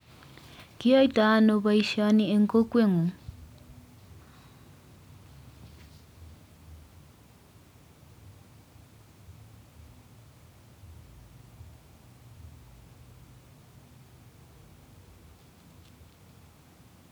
Kiyoitoi ano boishonik en kokweng'ung